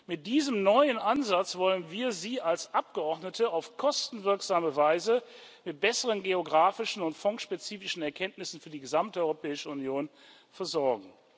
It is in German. Mit diesem neuen Ansatz wollen wir Sie als Abgeordnete auf kostenwirksame Weise mit besseren geografischen und fondsspezifischen Erkenntnissen für die gesamte Europäische Union versorgen.